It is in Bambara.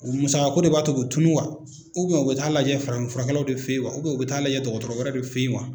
musakako de b'a kɛ o bɛ tunu wa u bɛ taaa lajɛ farafinfurakɛlaw de fɛ ye wa u bɛ taga lajɛ dɔgɔtɔrɔ wɛrɛw de fɛ ye wa.